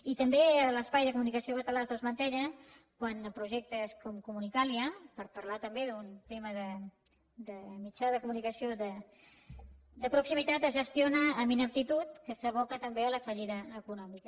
i també l’espai de comunicació català es desmantella quan projectes com comunicàlia per parlar també d’un tema de mitjà de comunicació de proximitat es gestiona amb ineptitud que s’aboca tam bé a la fallida econòmica